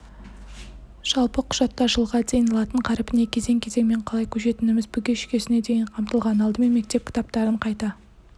жалпы құжатта жылға дейін латын қаріпіне кезең-кезеңмен қалай көшетініміз бүге-шүгесіне дейін қамтылған алдымен мектеп кітаптарын қайта